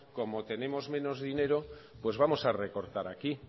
como tenemos menos dinero pues vamos a recortar aquí